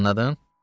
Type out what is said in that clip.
Anladın?